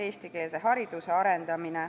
Aitäh!